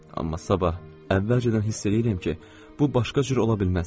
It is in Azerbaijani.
Amma sabah əvvəlcədən hiss eləyirəm ki, bu başqa cür ola bilməz.